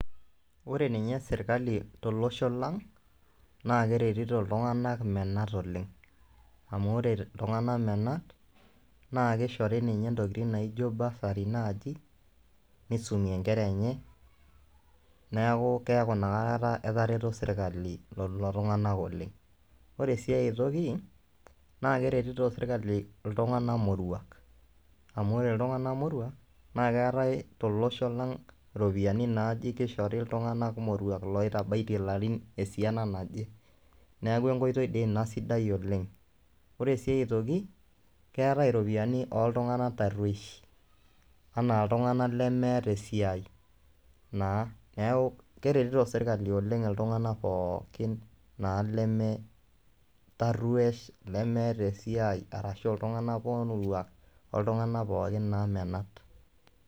Ore ninye serkali tolosho lang' naake eretito iltung'anak menat oleng' amu ore iltung'anak menat naake ishori ninye ntokitin naijo bursary naaji nisumie nkera enye, neeku keeku inakata etareto serkali lelo tung'anak oleng'. Ore sii ai toki naake eretito serkali iltung'anak moruak amu ore iltung'anak moruak naake eetai tolosho lang' iropiani naaji kishori iltung'anak moruak loitabaitie larin esiana naje, neeku enkoitoi dii ina sidai oleng' . Ore sii aitoki, keetai iropiani ooltung'anak tarueshi anaa iltung'anak lemeeta esiai naa keeku keretito serkali oleng' iltung'anak pookin naa leme taruesh, lemeeta esiai arashu iltung'anak moruak oltung'anak pookin naa menat.